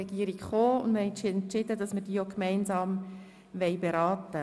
Deshalb haben wir entschieden, diese Motionen gemeinsam zu beraten.